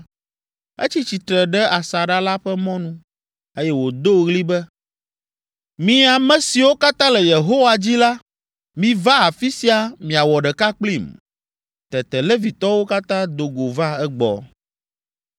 etsi tsitre ɖe asaɖa la ƒe mɔnu, eye wòdo ɣli be, “Mi ame siwo katã le Yehowa dzi la, miva afi sia miawɔ ɖeka kplim.” Tete Levitɔwo katã do go va egbɔ.